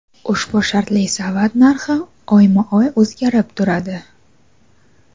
Ushbu shartli savat narxi oyma-oy o‘zgarib turadi.